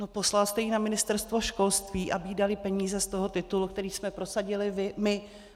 No poslal jste ji na Ministerstvo školství, aby jí dali peníze z toho titulu, který jsme prosadili my.